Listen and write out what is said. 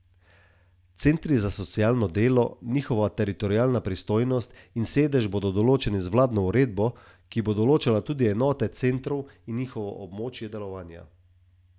Centri za socialno delo, njihova teritorialna pristojnost in sedež bodo določeni z vladno uredbo, ki bo določala tudi enote centrov in njihovo območje delovanja.